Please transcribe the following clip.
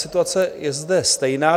Situace je zde stejná.